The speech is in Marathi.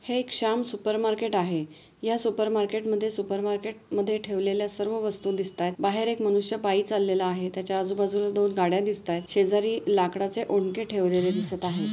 हे एक शाम सुपर मार्केट आहे. या सुपर मार्केट मध्ये सुपर मार्केट मध्ये ठेवलेल्या सर्व वस्तु दिसतात बाहेर एक मनुष्य पायी चाललेला आहे त्याच्या आजूबाजूला दोन गाड्या दिसतात. शेजारी लाकडच ओंके ठेवलेलं दिसत आहे.